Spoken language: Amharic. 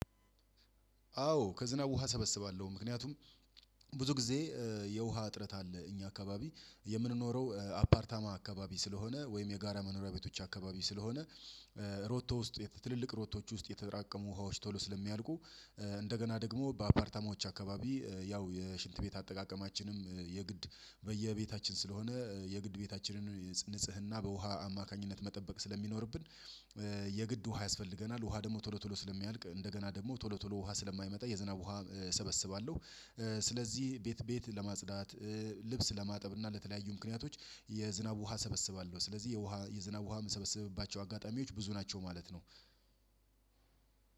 አዎ ከዝናብ ውሃ ሰበስባለሁ ምክንያቱም ብዙ ጊዜ የውሃ እጥረት አለ እኛ አካባቢ የምንኖረው አፓርታማ አካባቢ ስለሆነ ወይም የጋራ መኖሪያ ቤቶች አካባቢ ስለሆነ ሮቶ ውስጥ ትልልቅ ሮቶዎች ውስጥ የተራቀሙ ውሃዎች ቶሎ ስለሚያልቁ እንደገና ደግሞ በአፓርታማዎች አካባቢ ያው የሽንት ቤት አጠቃቀማችንም የግድ በየቤታችን ስለሆነ የግድ ቤታችንን ንጽህና በውሃ አማካኝነት መጠበቅ ስለሚኖርብን የግድ ውሃ ያስፈልገናል። ውሃ ደግሞ ቶሎ ቶሎ ስለሚያልቅ እንደገና ደግሞ ቶሎ ቶሎ ውሃ ስለማይመጣ የዝናብ ውሃ እሰበስባለሁ። ስለዚህ ቤት ቤት ለማጽዳት ልብስ ለማጠብ እና ለተለያዩ ምክንያቶች የዝናብ ውሃ ሰበስባለሁ ስለዚህ የዝናብ ውሃ የምሰበስብባቸው አጋጣሚዎች ብዙ ናቸው ማለት ነው።